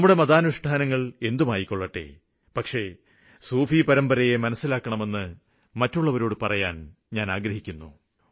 നമ്മുടെ മതാനുഷ്ഠാനങ്ങള് ഏതുമായിക്കോട്ടെ പക്ഷേ സൂഫി പരമ്പരയെ മനസ്സിലാക്കണമെന്ന് മറ്റുള്ളവരോട് പറയാന് ആഗ്രഹിക്കുന്നു